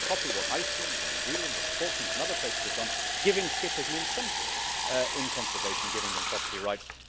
We need to copy what Iceland, New Zealand and the Falklands and other places have done, in giving skippers an incentive in conservation and giving them property rights.